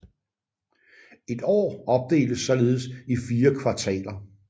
Et år opdeles således i 4 kvartaler